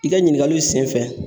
I ka ɲininkaliw senfɛ.